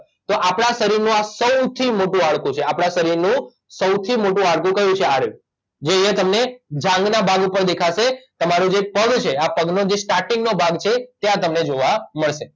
તો આપડાં શરીરનું આ સૌથી મોટું હાડકું છે આપડાં શરીરનું સૌથી મોટું હાડકું કયું છે આ રહ્યું જે અહીંંયા તમને જાંઘના ભાગ ઉપર દેખાશે તમારો જે પગ છે આ પગનો જે સ્ટાર્ટીંગ નો ભાગ છે ત્યાં તમને જોવા મળશે